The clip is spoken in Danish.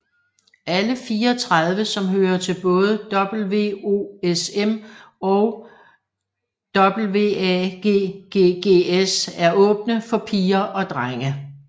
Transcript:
Alle 34 som hører til både WOSM og WAGGGS er åbne for piger og drenge